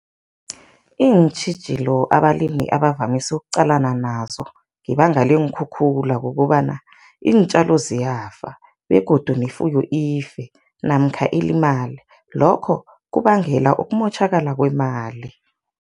Iintjhijilo abalimi abavamise ukuqalana nazo ngebanga leenkhukhula kukobana iintjalo ziyafa begodu nefuyo ife namkha ilimale, lokho kubangela ukumotjhakala kwemali.